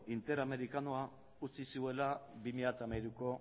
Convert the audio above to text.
interamerikarra utzi zuela bi mila hamairuko